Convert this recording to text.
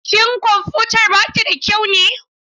Shin kwamfutar ba ta da kyau ne?